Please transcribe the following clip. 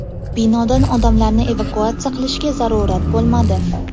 Binodan odamlarni evakuatsiya qilishga zarurat bo‘lmadi.